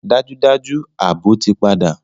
Dájúdájú! Ààbò ti padà